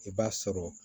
I b'a sɔrɔ